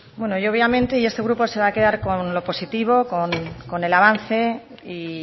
bueno yo obviamente y este grupo se va a quedar con lo positivo con el avance y